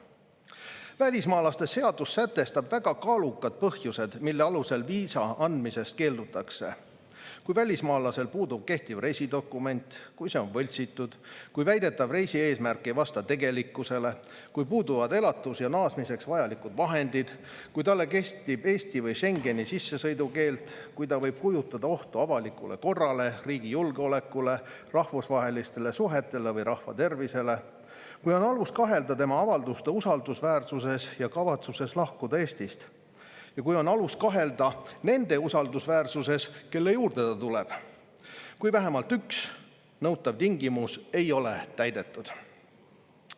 Välismaalaste seadus sätestab väga kaalukad põhjused, mille alusel viisa andmisest keeldutakse: kui välismaalasel puudub kehtiv reisidokument, kui see on võltsitud, kui väidetav reisi eesmärk ei vasta tegelikkusele, kui puuduvad elatus- ja naasmiseks vajalikud vahendid, kui talle kehtib Eesti või Schengeni sissesõidukeeld, kui ta võib kujutada ohtu avalikule korrale, riigi julgeolekule, rahvusvahelistele suhetele või rahvatervisele, kui on alust kahelda tema avalduste usaldusväärsuses ja kavatsuses lahkuda Eestist ja kui on alust kahelda nende usaldusväärsuses, kelle juurde ta tuleb, kui vähemalt üks nõutav tingimus ei ole täidetud.